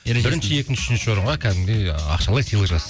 екінші үшінші орынға кәдімгідей ақшалай сыйлақ